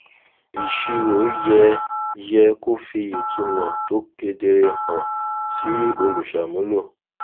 ìṣirò yẹ yẹ kó fi ìtumọ tó kedere hàn sí olùṣàmúlò